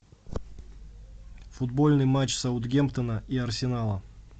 футбольный матч саутгемптона и арсенала